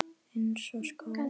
Eins og skó.